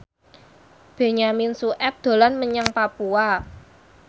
Benyamin Sueb dolan menyang Papua